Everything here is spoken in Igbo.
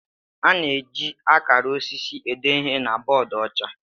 A na-eji akara osisi ede ihe na bọọdụ ọcha.